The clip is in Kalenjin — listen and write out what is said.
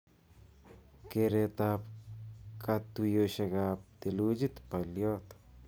Keretab katuyeshekab thelujit balyot